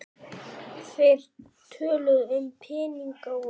Þeir töluðu um peninga og